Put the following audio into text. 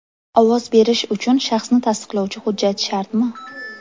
Ovoz berish uchun shaxsni tasdiqlovchi hujjat shartmi?